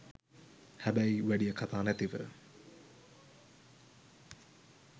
හැබැයි වැඩිය කතා නැතිව